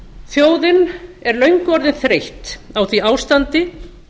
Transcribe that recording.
þjóðin er löngu orðin þreytt á því ástandi